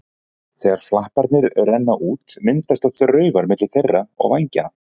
Þegar flaparnir renna út myndast oft raufar milli þeirra og vængjanna.